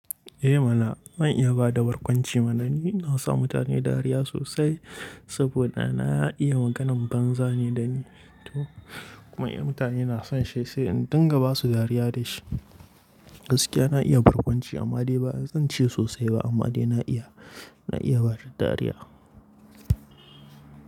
Eh mana, zan iya bada barkwanci mana ni. Na sa mutane dariya sosai saboda na iya maganan banza ne dani to. Kuma in mutane na son shi, sai in dinga basu dariya da shi. Gaskiya na iya barkwanci amma dai ba zan ce sosai ba amma dai na iya, na iya bada dariya.